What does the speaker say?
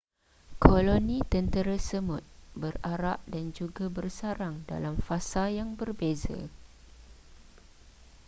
koloni tentera semut berarak dan juga bersarang dalam fasa yang berbeza